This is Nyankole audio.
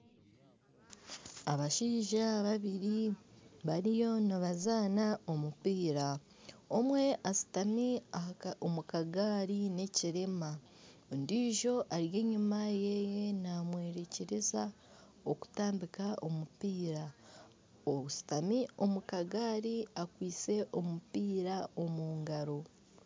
Abashaija babiri bariyo nibazaana omupiira omwe ashutami omu kagaari n'ekirema ondijo ari enyima yeeye namworekyereza okutambika omupiira, oshutami omu kagaari akwaitse omupiira omu ngaro.